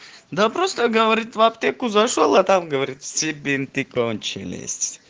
да просто говорит в аптеку зашёл а там говорит все бинты кончились